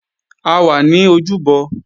A wà ní ojúbọ